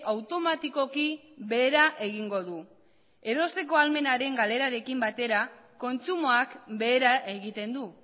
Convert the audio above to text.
automatikoki behera egingo dute erosteko ahalmenaren galerarekin batera kontsumoak behera egiten du